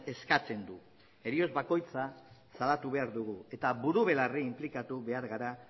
eskatzen du heriotz bakoitza salatu behar dugu eta buru belarri inplikatu behar gara